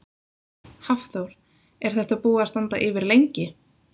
Hafþór: Er þetta búið að standa yfir lengi?